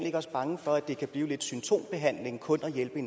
ikke også bange for at det kan blive lidt symptombehandling kun at hjælpe